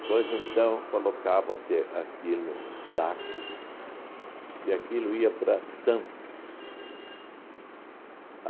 Depois, então, colocava-se aquilo num saco e aquilo ia para Santos.